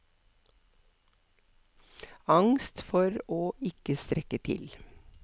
Angst for å ikke strekke til.